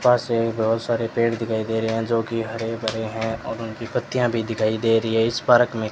पास ही बहुत सारे पेड़ दिखाई दे रहे हैं जो की हरे भरे हैं और उनकी पत्तियां भी दिखाई दे रहे हैं इस पारक में--